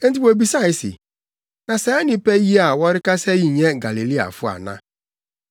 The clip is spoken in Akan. Enti wobisae se, “Na saa nnipa yi a wɔrekasa yi nyɛ Galileafo ana?